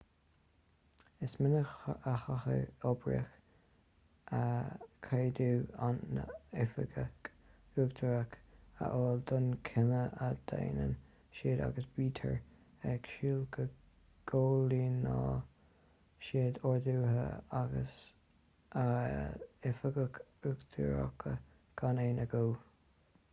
is minic a chaithfidh oibrithe ceadú a n-oifigeach uachtarach a fháil d'aon chinneadh a dhéanann siad agus bítear ag súil go gcomhlíonfaidh siad orduithe a n-oifigeach uachtarach gan aon agó